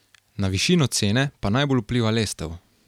Na višino cene pa najbolj vpliva lestev.